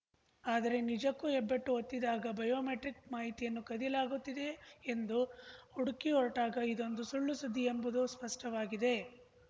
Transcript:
ಆದರೆ ನಿಜಕ್ಕೂ ಹೆಬ್ಬೆಟ್ಟು ಒತ್ತಿದಾಗ ಬಯೋಮೆಟ್ರಿಕ್‌ ಮಾಹಿತಿಯನ್ನು ಕದಿಯಲಾಗುತ್ತಿದೆಯೇ ಎಂದು ಹುಡುಕಿಹೊರಟಾಗ ಇದೊಂದು ಸುಳ್ಳುಸುದ್ದಿ ಎಂಬುದು ಸ್ಪಷ್ಟವಾಗಿದೆ